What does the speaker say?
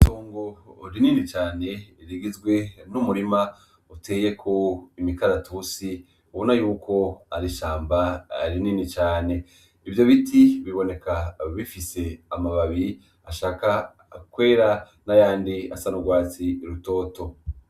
Itongo rinini cane rigizwe n'umurima uteyeko imikaratusi, ubona yuko ari ishamba rinini cane. Ivyo biti biboneka bifise amababi ashaka kwera n'ayandi asa n'urwatsi rutoto.